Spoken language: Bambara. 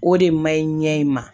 O de man ɲi ɲɛ in ma